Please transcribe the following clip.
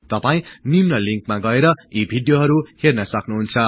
तपाई निम्न लिन्कमा गएर यी भिडियोहरु हेर्न सक्नुहुन्छ